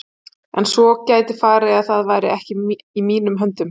En svo gæti farið að það væri ekki í mínum höndum.